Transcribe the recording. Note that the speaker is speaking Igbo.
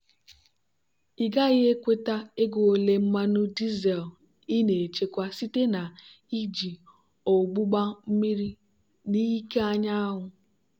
ị gaghị ekweta ego ole mmanụ dizel ị na-echekwa site na iji ogbugba mmiri n'ike anyanwụ.